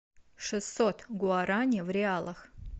шестьсот гуарани в реалах